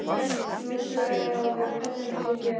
Númer tvö er að við pössum þig hér.